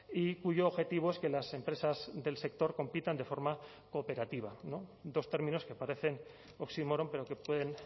y cuyo objetivo es que las empresas del sector compitan de forma cooperativa dos términos que parecen oximoron pero que pueden